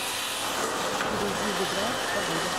перейди в игра погода